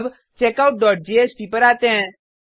अब checkout dot JSP पर आते हैं